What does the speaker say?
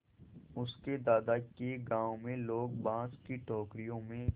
उसके दादा के गाँव में लोग बाँस की टोकरियों में